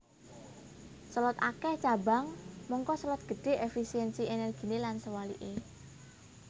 Selot akèh cabang mangka selot gedhé efisiensi ènèrginé lan sewaliké